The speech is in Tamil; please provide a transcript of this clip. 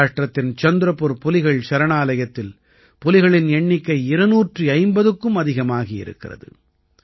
மஹாராஷ்டிரத்தின் சந்திரபுர் புலிகள் சரணாலயத்தில் புலிகளின் எண்ணிக்கை 250க்கும் அதிகமாகி ஆகியிருக்கிறது